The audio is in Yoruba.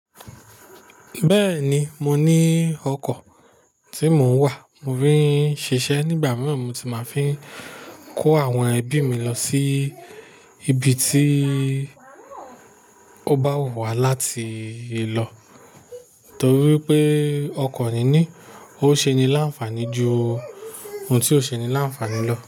Bẹ́ẹ̀ni, mo ní ọkọ̀ tí mò ń wà. Mo fin ń ṣiṣẹ́. Nígbà mìíràn, mo ti máa fe n kó àwọn ẹbí mi lọ sí ibi tí ó bá wù wá láti lọ. Nítorí pé ọkọ̀ ni ní, ó ṣe ni láǹfààní ju ohun tí ó ṣe ni láǹfààní lọ.